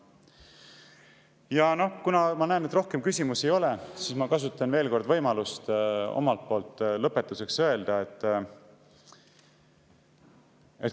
Ja kuna ma näen, et rohkem küsimusi ei ole, siis ma kasutan võimalust midagi lõpetuseks öelda.